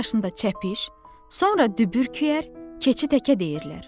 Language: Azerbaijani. iki yaşında çəpiş, sonra dübürküyər, keçi təkə deyirlər.